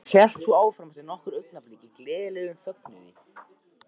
Og hélt svo áfram eftir nokkur augnablik í gleðilegum fögnuði